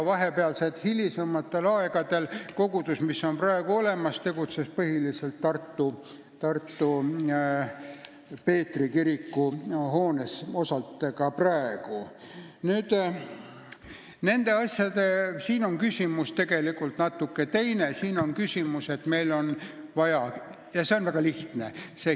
Hilisematel aegadel kogudus, mis on praegugi olemas, tegutses põhiliselt Peetri kiriku hoones.